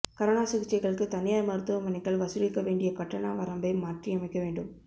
corona சிகிச்சைகளுக்கு தனியாா் மருத்துவமனைகள் வசூலிக்க வேண்டிய கட்டண வரம்பை மாற்றியமைக்க வேண்டும்